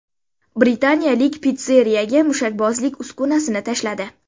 Britaniyalik pitsseriyaga mushakbozlik uskunasini tashladi .